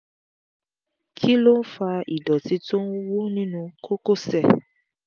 kí ló ń fa ìdọ̀tí tó ń wú nínú kókósẹ̀?